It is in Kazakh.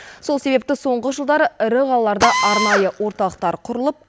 сол себепті соңғы жылдары ірі қалаларда арнайы орталықтар құрылып